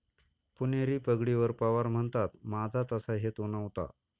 पुणेरी पगडीवर पवार म्हणतात,'माझा तसा हेतू नव्हता'